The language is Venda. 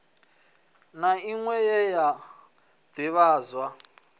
na inwe ye ya divhadzwa